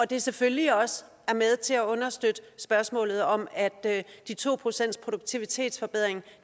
det selvfølgelig også er med til at understøtte spørgsmålet om at de to procent i produktivitetsforbedring